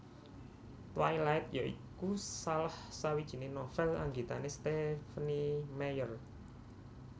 Twilight ya iku salah sawijiné novèl anggitané Stephenie Meyer